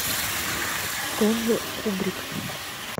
стэнли кубрик